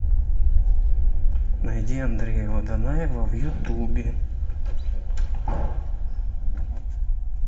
найди андрея водонаева в ютубе